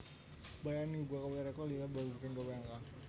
Bryant uga gawé rékor liya babagan gawé angka